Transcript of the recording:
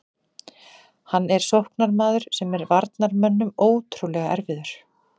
Hann er sóknarmaður sem er varnarmönnum ótrúlega erfiður.